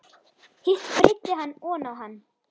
Hitt breiddi hann oná hann.